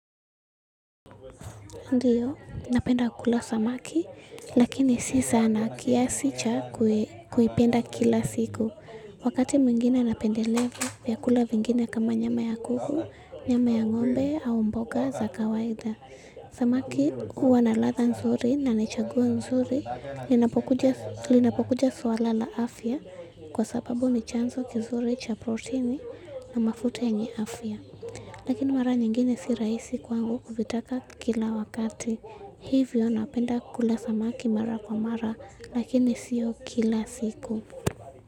Ndiyo, napenda kukula samaki, lakini si sana kiasi cha kuipenda kila siku. Wakati mwingine napendelea, vyakula vingine kama nyama ya kuku, nyama ya ng'ombe au mboga za kawaida. Samaki huwa na latha nzuri na ninachagua nzuri, inapokuja suala la afya, kwa sababu ni chanzo kizuri cha proteini na mafuta yenye afya. Lakini mara nyingine si rahisi kwangu kuvitaka kila wakati. Hivyo napenda kula samaki mara kwa mara. Lakini siyo kila siku.